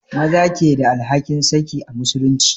Maza ke da alhakin saki a musulunci